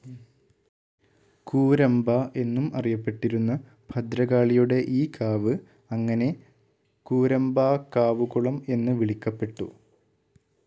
കൂരമ്പ എന്നും അറിയപ്പെട്ടിരുന്ന ഭദ്രകാളിയുടെ ഈ കാവ് അങ്ങനെ കൂരമ്പാക്കാവുകുളം എന്ന് വിളിക്കപ്പെട്ടു.